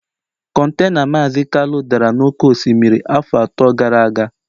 Contena Maazi Kalu dara n'oké osimiri afọ atọ gara aga